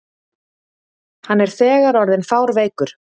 Hann er þegar orðinn fárveikur.